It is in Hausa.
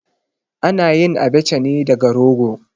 A na yin Abacha ne daga rogo.